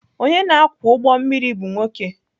Onye na-akwọ ụgbọ mmiri bụ nwoke.